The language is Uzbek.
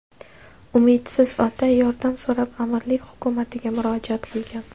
Umidsiz ota yordam so‘rab amirlik hukumatiga murojaat qilgan.